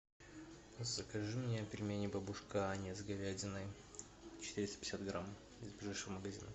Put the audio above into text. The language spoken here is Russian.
закажи мне пельмени бабушка аня с говядиной четыреста пятьдесят грамм из ближайшего магазина